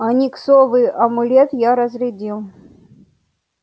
ониксовый амулет я разрядил